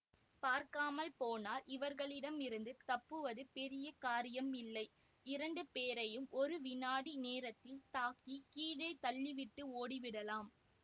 பார்க்கப்போனால் இவர்களிடமிருந்து தப்புவது பெரிய காரியமில்லை இரண்டு பேரையும் ஒரு வினாடி நேரத்தில் தாக்கி கீழே தள்ளிவிட்டு ஓடிவிடலாம்